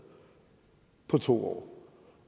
på to år